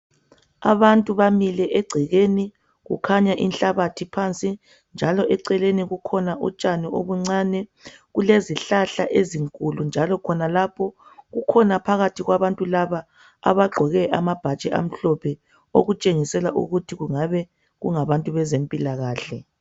abantu bamile egcekeni kukhanya inhlabathi phansi njalo eceleni kukhona utshani obuncane kulezihlahla ezinkulu njalo khonalapho kukhona phakathi kwabantu laba abagqoke amabhatshi amhlophe okutshengisela ukuthi kungabe kungabantu bezempilakhle